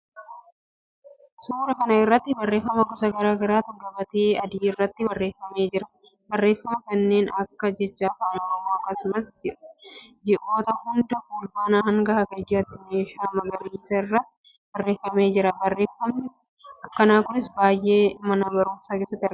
suuraa kana irratti barreefama gosa garaa garaatu gabatee adii irratti barreeffamee jira, barreeffama kanneen akka jecha afaan oromoo akkasumas ji, oota hundaa fulbaanaa hanga hagayyaatti meeshaa magariisa irratti barreeffamee jiraa. barreefamni akkanaa yeroo baayyee mana baruumsaa keessatti argama.